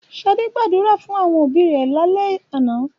Ṣadé gbàdúrà fún àwọn òbí rẹ̀ lálẹ́ àná.